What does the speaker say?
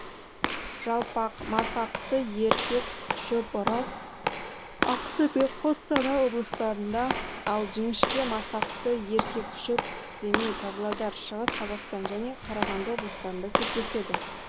жалпақ масақты еркек шөп орал ақтөбе қостанай облыстарыңда ал жіңіщке масақты еркек шөп семей павлодар шығыс қазақстан және қарағанды облыстарында кездеседі